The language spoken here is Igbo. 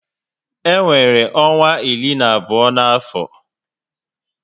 E nwere ọnwa iri na abụọ na afọ